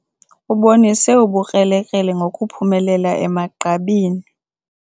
Ubonise ubukrelekrele ngokuphumelela emagqabini.